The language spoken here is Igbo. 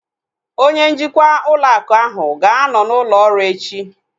Onye njikwa ụlọ akụ ahu ga-anọ n'ụlọ ọrụ echi